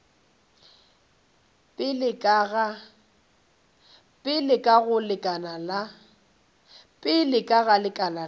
pele ka go lekala la